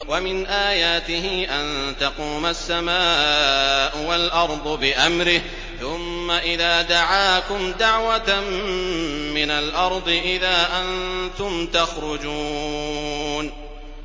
وَمِنْ آيَاتِهِ أَن تَقُومَ السَّمَاءُ وَالْأَرْضُ بِأَمْرِهِ ۚ ثُمَّ إِذَا دَعَاكُمْ دَعْوَةً مِّنَ الْأَرْضِ إِذَا أَنتُمْ تَخْرُجُونَ